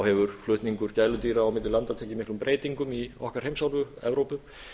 hefur flutningur gæludýra á milli landa tekið miklum breytingum í okkar heimsálfu evrópu